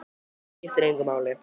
Það skiptir engu máli!